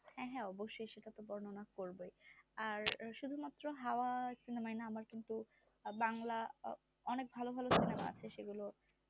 হ্যাঁ হ্যাঁ অবসসই সেটা তো বর্ণনা করবোই আর শুধু মাত্র হাওয়া cinema য় না আমার কিন্তু বাংলা অনেক ভালো ভালো cinema আছে সেগুলো